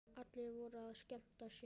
Allir voru að skemmta sér.